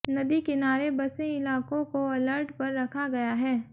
नदी किनारे बसे इलाकों को अलर्ट पर रखा गया है